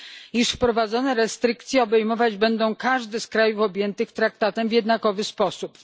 iż wprowadzone restrykcje obejmować będą każdy z krajów objętych traktatem w jednakowy sposób.